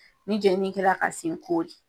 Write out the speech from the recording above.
Ni jeli min kɛra ka sen kori